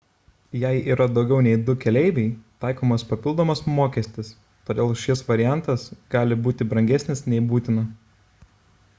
jei yra daugiau nei 2 keleiviai taikomas papildomas mokestis todėl šis variantas gali būti brangesnis nei būtina